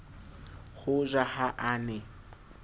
ho ja ha a ne